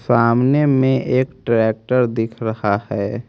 सामने में एक ट्रैक्टर दिख रहा है।